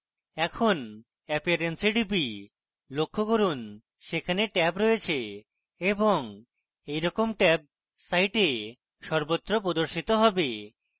এখন appearance এ টিপি লক্ষ্য করুন সেখানে ট্যাব রয়েছে এবং এইরকম ট্যাব site সর্বত্র প্রদর্শিত হবে